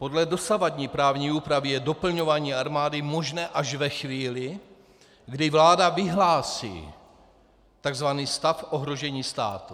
Podle dosavadní právní úpravy je doplňování armády možné až ve chvíli, kdy vláda vyhlásí tzv. stav ohrožení státu.